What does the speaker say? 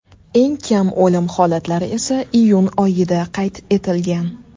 Eng kam o‘lim holatlari esa iyun oyida qayd etilgan.